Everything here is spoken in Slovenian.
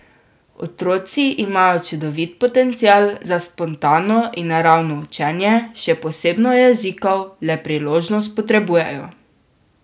Otroci imajo čudovit potencial za spontano in naravno učenje, še posebno jezikov, le priložnost potrebujejo.